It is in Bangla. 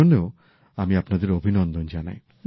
সেজন্যও আমি আপনাদের অভিনন্দন জানাই